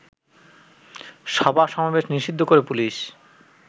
সভা-সমাবেশ নিষিদ্ধ করে পুলিশ